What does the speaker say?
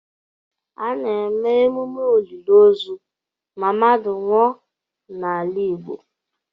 A na-eme emume olili ozu ma mmadụ nwụọ n'ala Igbo.